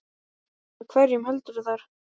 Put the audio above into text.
Með hverjum heldurðu þar?